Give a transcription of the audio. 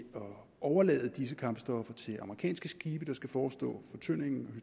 at overlade disse kampstoffer til amerikanske skibe der skal forestå fortyndingen